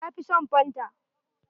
Ya fi son fanta.